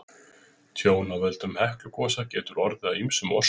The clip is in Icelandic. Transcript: tjón af völdum heklugosa getur orðið af ýmsum orsökum